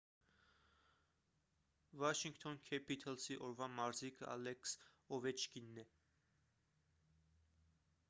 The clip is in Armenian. վաշինգթոն քեփիթըլսի օրվա մարզիկը ալեքս օվեչկինն է